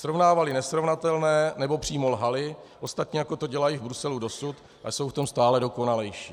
Srovnávali nesrovnatelné, nebo přímo lhali, ostatně jako to dělají v Bruselu dosud a jsou v tom stále dokonalejší.